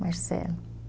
Marcelo.